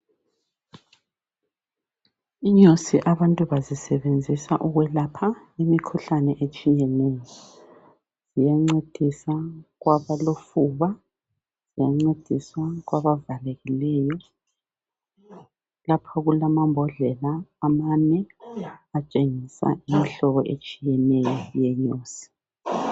Inyosi abantu bazisebenzisa ukwelapha imikhuhlane etshiyeneyo lokuncedisa kwabalofuba lokuncedisa kwabavalekileyo lapho kulamabhodlela amane atshengisa imihlobo eyehlukeneyo yenyosi.